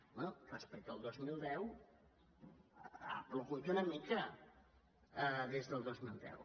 bé respecte al dos mil deu ha plogut una mica des del dos mil deu